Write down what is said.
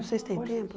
Vocês têm tempo?